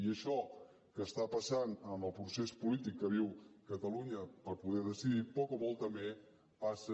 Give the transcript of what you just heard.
i això que està passant en el procés polític que viu catalunya per poder decidir poc o molt també passa